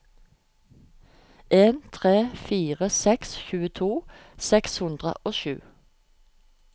en tre fire seks tjueto seks hundre og sju